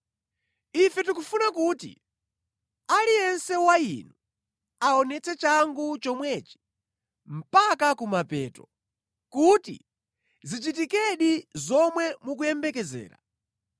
Ife tikufuna kuti aliyense wa inu aonetse changu chomwechi mpaka kumapeto, kuti zichitikedi zomwe mukuyembekezera.